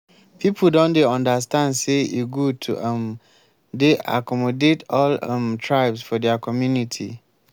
pipu don dey understand sey e good to um dey accommodate all um tribes for their community.